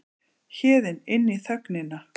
Héðinn inn í þögnina.